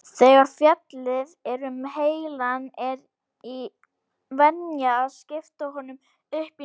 Þegar fjallað er um heilann er venjan að skipta honum upp í nokkur svæði.